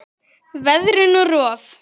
Veðrun og rof